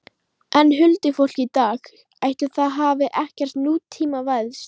En huldufólkið í dag, ætli það hafi ekkert nútímavæðst?